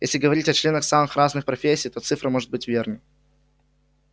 если говорить о членах самых разных профессий то цифра может быть верна